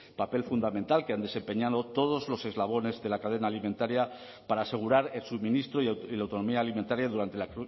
papel fundamental que han desempeñado todos los eslabones de la cadena alimentaria para asegurar el suministro y la autonomía alimentaria durante la